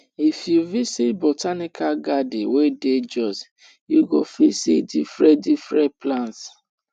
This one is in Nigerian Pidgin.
if you visit botanical garden wey dey jos you go fit see different different plants